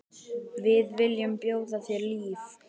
Við viljum bjóða þér líf.